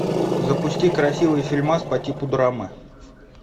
запусти красивый фильмас по типу драмы